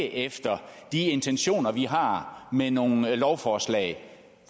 efter de intentioner vi har med nogle lovforslag